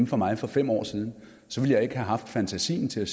for mig for fem år siden så ville jeg ikke have haft fantasi til at